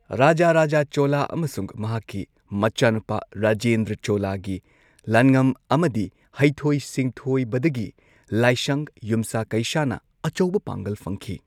ꯔꯥꯖꯥꯔꯥꯖꯥ ꯆꯣꯂꯥ ꯑꯃꯁꯨꯡ ꯃꯍꯥꯛꯀꯤ ꯃꯆꯥꯅꯨꯄꯥ ꯔꯥꯖꯦꯟꯗ꯭ꯔꯥ ꯆꯣꯂꯥꯒꯤ ꯂꯥꯟꯉꯝ ꯑꯃꯗꯤ ꯍꯩꯊꯣꯏ ꯁꯤꯡꯊꯣꯏꯕꯗꯒꯤ ꯂꯥꯏꯁꯪ ꯌꯨꯝꯁꯥ ꯀꯩꯁꯥꯅ ꯑꯆꯧꯕ ꯄꯥꯡꯒꯜ ꯐꯪꯈꯤ꯫